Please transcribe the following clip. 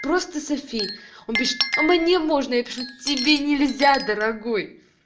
просто софи он пишет а мне можно я пишу тебе нельзя дорогой